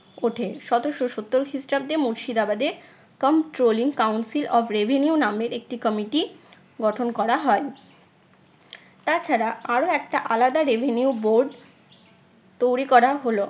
ওঠে। সতেরশো সত্তর খ্রিস্টাব্দে মুর্শিদাবাদে controlling council of reveneu নামের একটি committee গঠন করা হয়। তাছাড়া আরও একটা আলাদা revenue board তৈরী করা হলো।